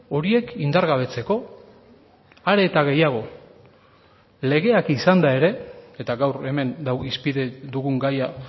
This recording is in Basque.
horiek indargabetzeko are eta gehiago legeak izanda ere eta gaur hemen dago hizpide dugun gaia